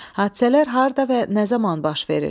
Hadisələr harda və nə zaman baş verir?